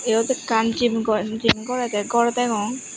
eyot ekkan gym gore gym gorday gor degong.